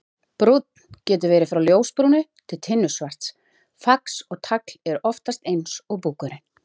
Brúnn: Getur verið frá ljósbrúnu til tinnusvarts, fax og tagl eru oftast eins og búkurinn.